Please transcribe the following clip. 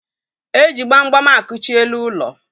E ji gbam gbam akụchi elu ụlọ.